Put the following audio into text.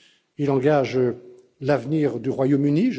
Il engage l'avenir du Royaume Uni.